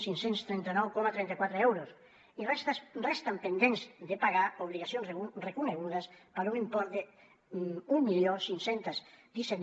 cinc cents i trenta nou coma trenta quatre euros i resten pendents de pagar obligacions reconegudes per un import d’quinze deu set